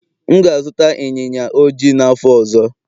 M ga-azụta ịnyịnya ojii n'afọ ọzọ.